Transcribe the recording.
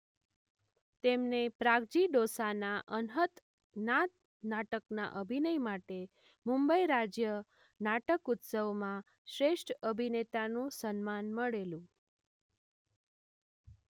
તેમને પ્રાગજી ડોસાના અનહત નાદ નાટકના અભિનય માટે મુંબઈ રાજ્ય નાટક ઉત્સવમાં શ્રેષ્ઠ અભિનેતાનું સન્માન મળેલું.